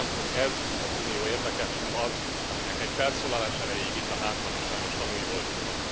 Hiszem, hogy ez az Unió érdeke, s nem az, aminek egy felszólalás erejéig itt, a Házban is sajnos tanúi voltunk ma.